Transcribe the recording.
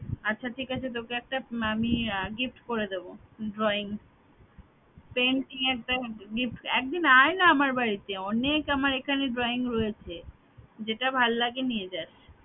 আচ্ছা ঠিক আছে তোকে একটা আমি gift করে দিব drawing painting একটা gift একদিন আয় না আমার বাড়িতে অনেক আমার এখানে drawing রয়েছে যেটা ভাল্লাগে নিয়ে যাস